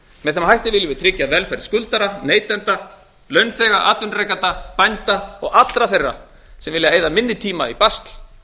með þeim hætti viljum við tryggja velferð skuldara neytenda launþega atvinnurekenda bænda og allra þeirra sem vilja eyða minni tíma í basl